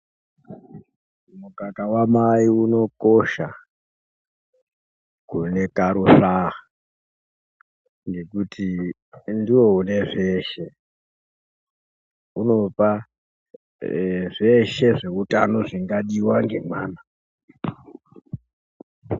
Mukaka wamai unokosha kune karusvaa ngekuti ndiwo unezveshe ,unopa zveshe zveutano zvingadiwa ngemwana.